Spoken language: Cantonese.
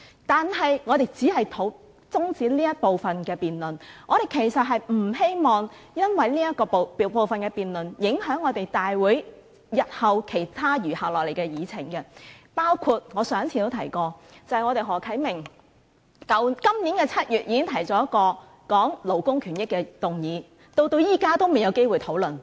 但是，我們只是想中止這部分的辯論，我們其實並不希望因為這部分的辯論而影響了大會日後其他餘下的議程，包括我上次提及的，便是何啟明議員今年7月已提出的一項有關勞工權益的議案，至今仍未有機會討論。